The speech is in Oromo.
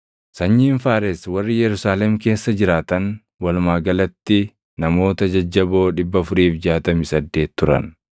Sanyiin Faares warri Yerusaalem keessa jiraatan walumaa galatti namoota jajjaboo 468 turan.